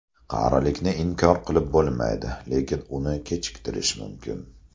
Qarilikni inkor qilib bo‘lmaydi, lekin uni kechiktirish mumkin.